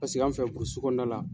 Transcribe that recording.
Pasiki an fɛ burusi kɔnɔna la.